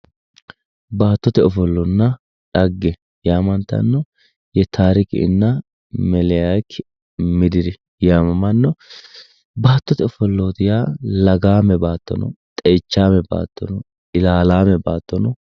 Baattote ofollonna dhagge yaamantanno yetaarikinna melaaki midiri yaamammanno, baattote ofollooti yaa lagaame baatto no, xeichaame baatto, ilaalaame baatto